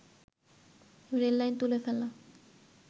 rail line তুলে ফেলা